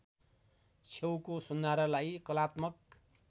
छेउको सुन्धारालाई कलात्मक